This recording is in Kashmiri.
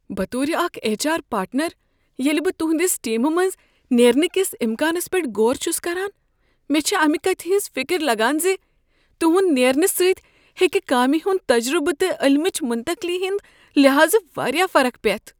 بطور اکھ ایچ آر پارٹنر، ییٚلہ بہٕ تہنٛدس ٹیمہ منٛزٕ نیرنہٕ کس امکانس پیٹھ غور چھس کران، مےٚ چھےٚ امہ کتھ ہٕنٛز فکر لگان ز تہنٛد نیرنہٕ سۭتۍ ہیٚکہ کامہ ہنٛد تجربہٕ تہٕ علمٕچ منتقلی ہٕنٛد لحاظٕ واریاہ فرق پیتھ